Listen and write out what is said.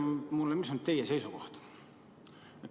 Ütelge mulle, mis on teie seisukoht?